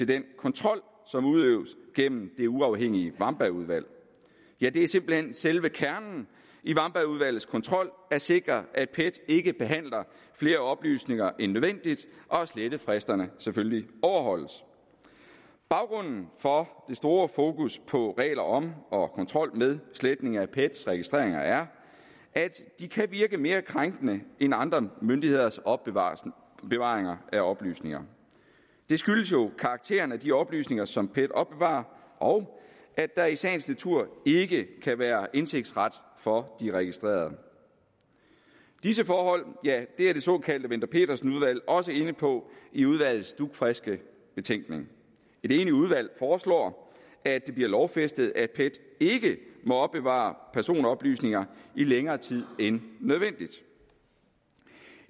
den kontrol som udøves gennem det uafhængige wambergudvalg ja det er simpelt hen selve kernen i wambergudvalgets kontrol at sikre at pet ikke behandler flere oplysninger end nødvendigt og at slettefristerne selvfølgelig overholdes baggrunden for det store fokus på regler om og kontrol med sletning af pets registreringer er at de kan virke mere krænkende end andre myndigheders opbevaring af oplysninger det skyldes jo karakteren af de oplysninger som pet opbevarer og at der i sagens natur ikke kan være indsigtsret for de registrerede disse forhold er det såkaldte wendler pedersen udvalg også inde på i udvalgets dugfriske betænkning et enigt udvalg foreslår at det bliver lovfæstet at pet ikke må opbevare personoplysninger i længere tid end nødvendigt